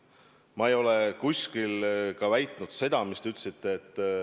Ma ei ole kuskil ka väitnud seda, mida te ütlesite.